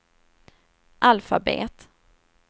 alfabet